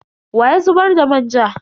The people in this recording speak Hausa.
Wa ya zubar da manja?